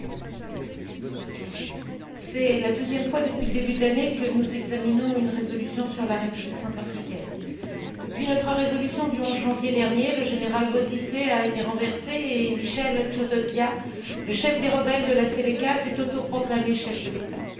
Monsieur le Président, c'est la deuxième fois depuis le début de l'année que nous examinons une résolution sur la République centrafricaine. Depuis notre résolution du 11 janvier dernier, le général Bozizé a été renversé et Michel Djotodia, le chef des rebelles de la Seleka, s'est autoproclamé chef de l'État.